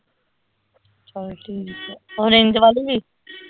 ਚੱਲ ਠੀਕ ਆ orange ਵਾਲੀ ਵੀ